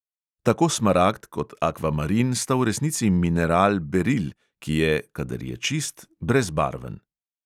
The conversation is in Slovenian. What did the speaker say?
Tako smaragd kot akvamarin sta v resnici mineral beril, ki je, kadar je čist, brezbarven.